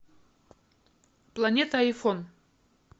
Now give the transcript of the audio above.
планета айфон